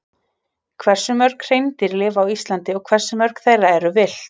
Hversu mörg hreindýr lifa á Íslandi og hversu mörg þeirra eru villt?